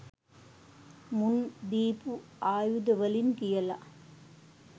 මුන් දීපු ආයුද වලින් කියල